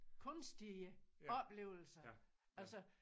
Kunstige oplevelser altså